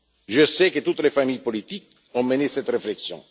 Je sais que toutes les familles politiques ont mené cette réflexion.